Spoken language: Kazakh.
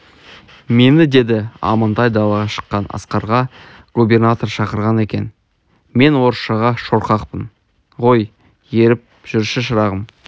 мені деді амантай далаға шыққан асқарға губернатор шақырған екен мен орысшаға шорқақпын ғой еріп жүрші шырағым